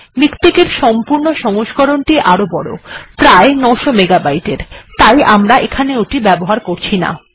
MiKTeX এর সম্পূর্ণ সংস্করণ টি আরো বড়প্রায় ৯০০ মেগা বাইটের তাই আমরা ওটি ব্যবহার করছি না